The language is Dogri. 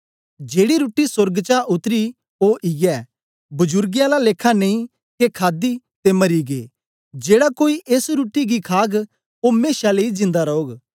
जेड़ी रुट्टी सोर्ग चा उतरी ओ इयै बजुर्गें आला लेखा नेई के खादी ते मरी गै जेड़ा कोई ए रुट्टी खाग ओ मेशा लेई जिन्दा रौग